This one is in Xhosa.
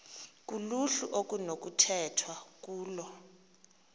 kuluhlu okunokukhethwa kulo